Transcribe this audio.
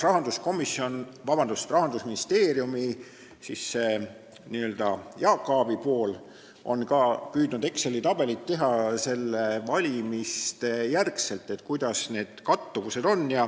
Rahandusministeeriumi n-ö Jaak Aabi pool on püüdnud Exceli tabelit teha pärast valimisi selle kohta, et kuidas need kattuvused on.